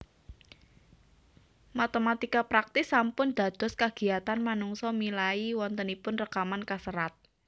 Matématika praktis sampun dados kagiyatan manungsa milai wontenipun rekaman kaserat